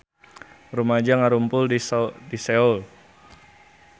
Rumaja ngarumpul di Seoul